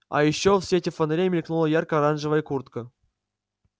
а ещё в свете фонарей мелькнула ярко-оранжевая куртка